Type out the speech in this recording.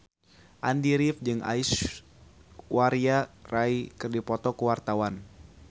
Andy rif jeung Aishwarya Rai keur dipoto ku wartawan